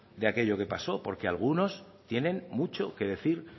de aquello que pasó porque algunos tienen mucho que decir